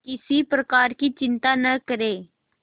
किसी प्रकार की चिंता न करें